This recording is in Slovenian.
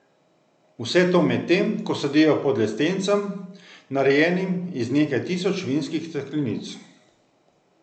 Vse to medtem, ko sedijo pod lestencem, narejenim iz nekaj tisoč vinskih steklenic.